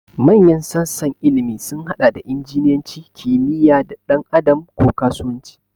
Manyan sassan ilimi sun haɗa da injiniyanci, kimiyya, ɗan adam, ko kasuwanci.